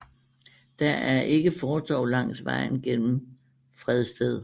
Der er ikke fortov langs vejen gennem Fredsted